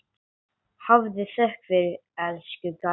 Hafðu þökk fyrir, elsku Garðar.